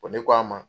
Ko ne k'a ma